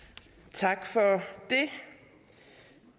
tak for det